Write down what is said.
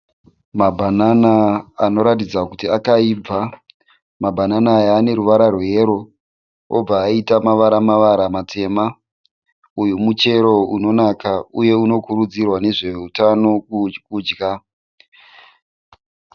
Mabanana anoratidza kuti akaibva. Mabanana aya ane ruvara rweyero obva aita mavara mavara matema. Uyu muchero unonaka uye unokurudzirwa nezveutano kudya.